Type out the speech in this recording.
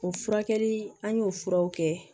O furakɛli an y'o furaw kɛ